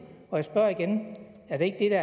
og jeg spørger igen er det ikke